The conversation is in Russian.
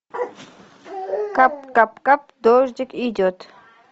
кап кап кап дождик идет